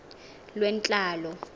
lwentlalo